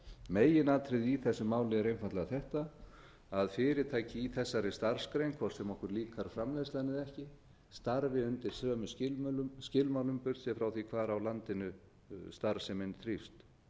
megin atriðið í þessu máli er einfaldlega þetta að fyrirtæki í þessari starfsgrein hvort sem okkur líkar framleiðslan eða ekki starfi undir sömu skilmálum burtséð hvar á landinu starfsemin þrífst